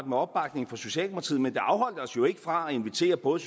med opbakningen fra socialdemokratiet men det afholdt os jo ikke fra at invitere både